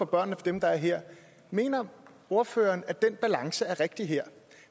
børnene og dem der er her mener ordføreren at den balance er rigtig her